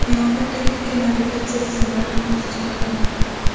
Yana bir texnika navigatsiya tizimlarini o‘z ichiga oladi.